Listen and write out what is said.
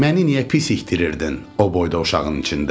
Məni niyə pis ikdirirdin o boyda uşağın içində?